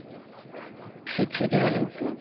ধিক্ছে দিব লাগিছিলে